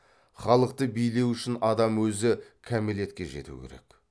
халықты билеу үшін адам өзі қамелетке жету керек